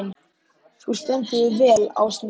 Þú stendur þig vel, Ásný!